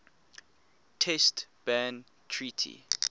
test ban treaty